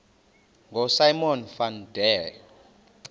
ngosimon van der